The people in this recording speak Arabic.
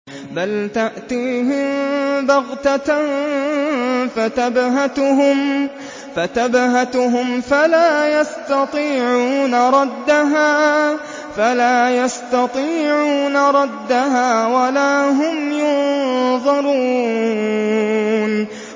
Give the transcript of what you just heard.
بَلْ تَأْتِيهِم بَغْتَةً فَتَبْهَتُهُمْ فَلَا يَسْتَطِيعُونَ رَدَّهَا وَلَا هُمْ يُنظَرُونَ